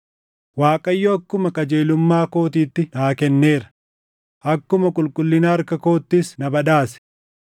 “ Waaqayyo akkuma qajeelummaa kootiitti naa kenneera; akkuma qulqullina harka koottis na badhaase.